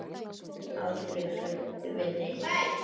Ég er aldrei hrædd við neitt.